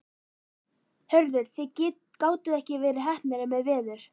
Hörður, þið gátuð ekki verið heppnari með veður?